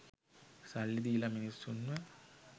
සල්ලි දීල මිනිස්සුන්ව